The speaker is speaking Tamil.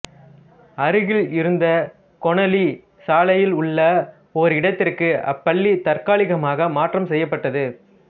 அருகில் இருந்த கொனாலி சாலையில் உள்ள ஓர் இடத்திற்கு அப்பள்ளி தற்காலிகமாக மாற்றம் செய்யப் பட்டது